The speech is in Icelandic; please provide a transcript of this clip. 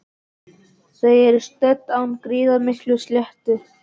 Þau eru stödd á gríðarmikilli sléttu.